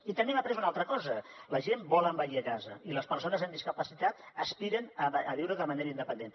i també hem après una altra cosa la gent vol envellir a casa i les persones amb discapacitat aspiren a viure de manera independent